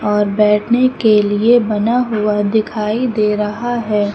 और बैठने के लिए बना हुआ दिखाई दे रहा है।